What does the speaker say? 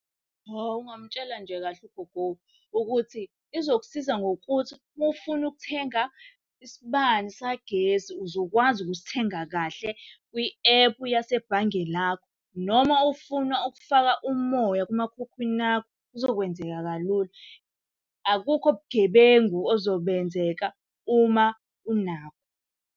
Hawu ungamtshela nje kahle ugogo ukuthi izokusiza ngokuthi uma ufuna ukuthenga isibani sagesi uzokwazi ukusithenga kahle kwi-ephu yasebhange lakho. Noma ufuna ukufaka umoya kumakhukhwini akho, kuzokwenzeka kalula. Akukho bugebengu ozobenzeka uma unakho.